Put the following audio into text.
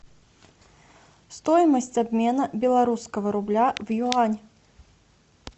стоимость обмена белорусского рубля в юань